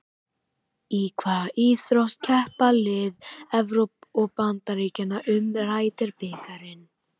Í hvaða íþrótt keppa lið Evrópu og Bandaríkjanna um Ryder bikarinn?